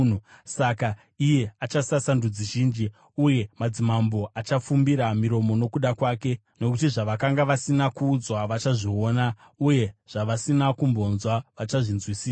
saka iye achasasa ndudzi zhinji, uye madzimambo achafumbira miromo nokuda kwake. Nokuti zvavakanga vasina kuudzwa, vachazviona, uye zvavasina kumbonzwa, vachazvinzwisisa.